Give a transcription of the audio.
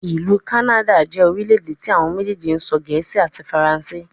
Ilu Kanada jẹ orilẹ-ede ti awọn mejeeji sọ Gẹẹsi ati Faranse